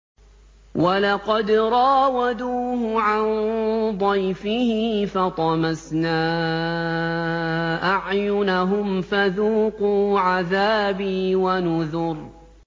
وَلَقَدْ رَاوَدُوهُ عَن ضَيْفِهِ فَطَمَسْنَا أَعْيُنَهُمْ فَذُوقُوا عَذَابِي وَنُذُرِ